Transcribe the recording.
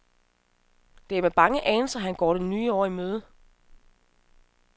Det er med bange anelser, han går det nye år i møde.